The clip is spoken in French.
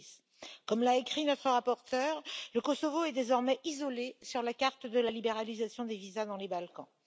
2010. Comme l'a écrit notre rapporteure, le Kosovo est désormais isolé sur la carte de la libéralisation des visas dans les Balkans.